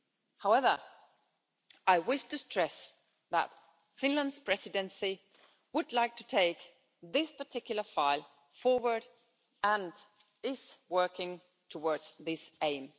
However, I wish to stress that Finland's Presidency would like to take this particular file forward and is working towards this aim.